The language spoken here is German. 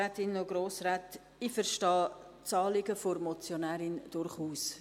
Ich verstehe das Anliegen der Motionärin durchaus.